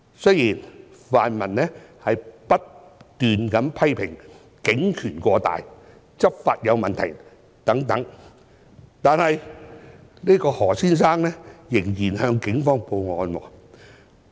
雖然泛民不斷批評警權過大、執法有問題等，但何先生仍然向警方報案。